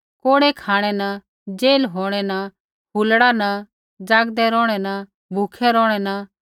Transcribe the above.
कोड़ै खाँणै न जेल होंणै न हुलल्ड़ो न ज़ागदै रौहणै न भूखै रौहणै न